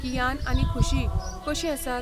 कियान आनी खुशी कशीं आसात?